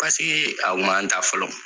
Pasekee a kun ma n ta fɔlɔ.